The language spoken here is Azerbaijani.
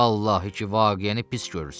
Vallahi ki, vaqiəni pis görürsən.